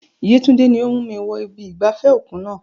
Yetunde ni ó mú mi wọ ibi ìgbafẹ́ òkun náà.